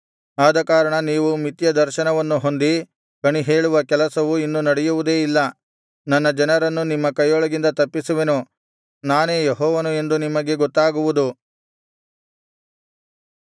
ಆದಕಾರಣ ನೀವು ಮಿಥ್ಯ ದರ್ಶನವನ್ನು ಹೊಂದಿ ಕಣಿಹೇಳುವ ಕೆಲಸವು ಇನ್ನು ನಡೆಯುವುದೇ ಇಲ್ಲ ನನ್ನ ಜನರನ್ನು ನಿಮ್ಮ ಕೈಯೊಳಗಿಂದ ತಪ್ಪಿಸುವೆನು ನಾನೇ ಯೆಹೋವನು ಎಂದು ನಿಮಗೆ ಗೊತ್ತಾಗುವುದು